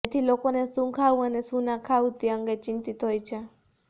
તેથી લોકોને શું ખાવું અને શું ના ખાવું તે અંગે ચિંતિત હોય છે